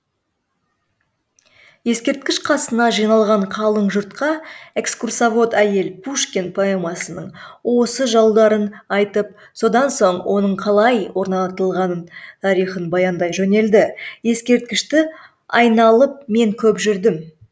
ескерткіш қасына жиналған қалың жұртқа экскурсовод әйел пушкин поэмасының осы жолдарын айтып содан соң оның қалай орнатылған тарихын баяндай жөнелді ескерткішті айналып мен көп жүрдім